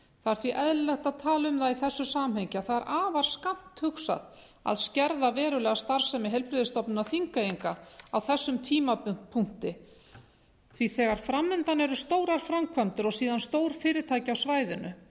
það er því eðlilegt að tala um það í þessu samhengi að það er afar skammt hugsað að skerða verulega starfsemi heilbrigðisstofnunar þingeyinga á þessum tímapunkti því að þegar fram undan eru stórar framkvæmdir og síðan stór fyrirtæki á svæðinu